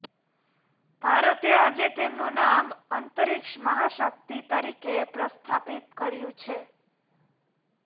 ભારતે આજે તેમનું નામ અંતરિક્ષ મહાશક્તિ તરીકે પ્રસ્થાપિત કર્યું છે